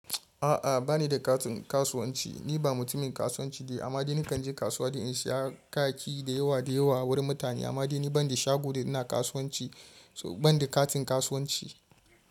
A'a bani da katin kasuwanci. Ni ba mutumin kasuwanci ne amma dai nakan je kasuwa don in saya kayayyaki da yawa da yawa wurin mutane amma dai ni ban da shago da ina kasuwanci, ban da katin kasuwanci.